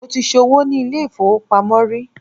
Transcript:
mo ti so'wo ni ilé ifowopamọ ri